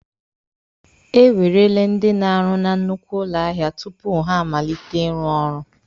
E werele ndị na-arụ na nnukwu ụlọ ahịa tupu ha amalite ịrụ ọrụ.